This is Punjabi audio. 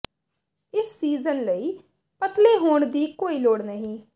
ਇਸ ਸੀਜ਼ਨ ਲਈ ਪਤਲੇ ਹੋਣ ਦੀ ਕੋਈ ਲੋੜ ਨਹੀਂ